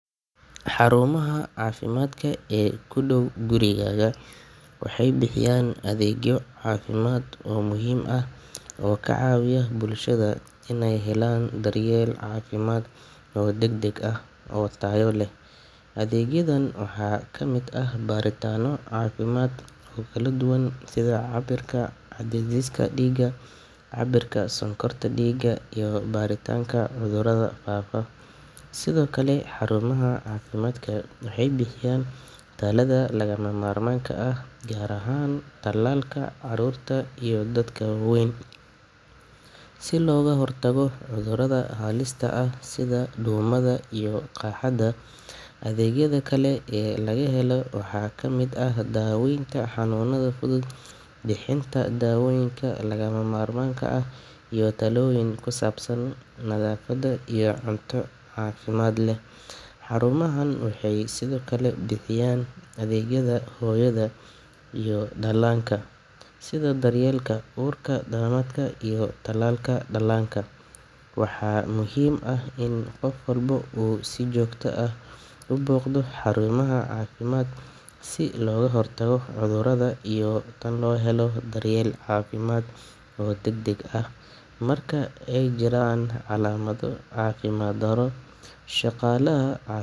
Xarumaha caafimaadka ee ku dhow gurigaaga waxay bixiyaan adeegyo caafimaad oo muhiim ah oo ka caawiya bulshada inay helaan daryeel caafimaad oo degdeg ah oo tayo leh. Adeegyadan waxaa ka mid ah baaritaanno caafimaad oo kala duwan sida cabbirka cadaadiska dhiigga, cabbirka sonkorta dhiigga, iyo baaritaanka cudurrada faafa. Sidoo kale, xarumaha caafimaadka waxay bixiyaan tallaalada lagama maarmaanka ah, gaar ahaan tallaalka caruurta iyo dadka waaweyn si looga hortago cudurrada halista ah sida duumada iyo qaaxada. Adeegyada kale ee laga helo waxaa ka mid ah daaweynta xanuunada fudud, bixinta daawooyinka lagama maarmaanka ah, iyo talooyin ku saabsan nadaafadda iyo cunto caafimaad leh. Xarumahan waxay sidoo kale bixiyaan adeegyada hooyada iyo dhallaanka, sida daryeelka uurka, dhalmada, iyo talaalka dhallaanka. Waxaa muhiim ah in qof walba uu si joogto ah u booqdo xarumaha caafimaadka si looga hortago cudurrada iyo in loo helo daryeel caafimaad oo degdeg ah marka ay jiraan calaamado caafimaad darro. Shaqaalaha caaf.